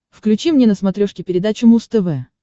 включи мне на смотрешке передачу муз тв